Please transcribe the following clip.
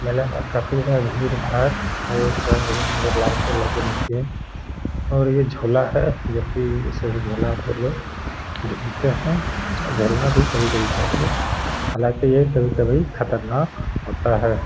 मेला में काफी बार भीड़-भाड़ और रंग बिरंगी लाइटें लगी होती है। और ये झूला है जो की इसे भी झूलने आते है लोग झूलते हैं और झूलना भी कभी-कभी चाहिए हालांकि ये कभी-कभी खतरनाक होता है।